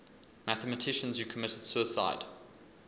mathematicians who committed suicide